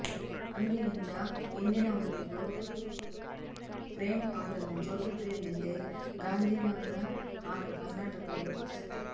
ಅಂದಿನಿಂದ ಇಂದಿನವರೆಗೂ ಪ್ರೇಮ್ ಅವರನ್ನು ಜೋಗಿ ಪ್ರೇಮ್ ಎಂದೇ ಗಾಂಧಿನಗರ ಹಾಗೂ ಕರ್ನಾಟಕ ಗುರುತಿಸುತ್ತೆ